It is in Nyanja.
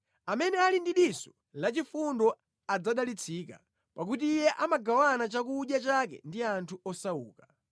Amene ali ndi diso lachifundo adzadalitsika, pakuti iye amagawana chakudya chake ndi anthu osauka.